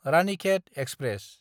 Ranikhet express